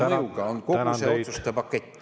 … olulise mõjuga on kogu see otsuste pakett.